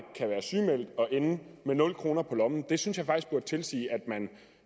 og ende med nul kroner på lommen det synes jeg faktisk burde tilsige at man